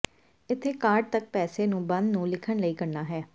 ਇੱਥੇ ਕਾਰਡ ਤੱਕ ਪੈਸੇ ਨੂੰ ਬੰਦ ਨੂੰ ਲਿਖਣ ਲਈ ਕਰਨਾ ਹੈ